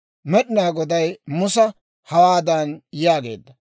Med'inaa Goday Musa, hawaadan yaageedda;